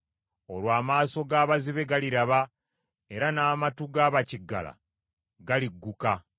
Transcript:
Olwo amaaso g’abazibe galiraba, era n’amatu ga bakiggala galigguka;